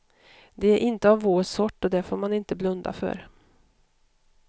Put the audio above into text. De är inte av vår sort, och det får man inte blunda för.